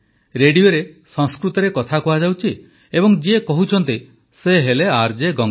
ରେଡିଓରେ ସଂସ୍କୃତରେ କଥା କୁହାଯାଉଛି ଏବଂ ଯିଏ କହୁଛନ୍ତି ସେ ହେଲେ ଆର୍ଜେ ଗଙ୍ଗା